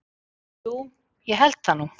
Jú ég held það nú.